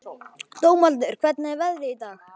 Dómaldur, hvernig er veðrið í dag?